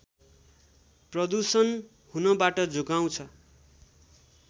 प्रदूषण हुनबाट जोगाउँछ